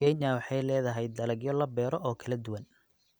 Kenya waxay leedahay dalagyo la beero oo kala duwan.